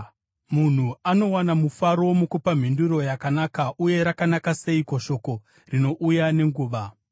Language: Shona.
Munhu anowana mufaro mukupa mhinduro yakanaka, uye rakanaka seiko shoko rinouya nenguva!